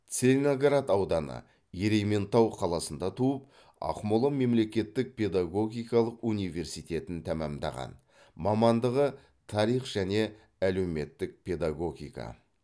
целиноград ауданы ерейментау қаласында туып ақмола мемлекеттік педагогикалық университетін тәмамдаған мамандығы тарих және әлеуметтік педагогика